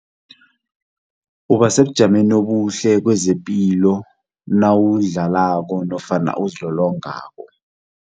Uba sebujameni obuhle kezepilo nawudlako nofana uzilolongako.